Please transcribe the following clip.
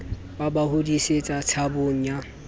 ba ba hodisetsa tshabong ya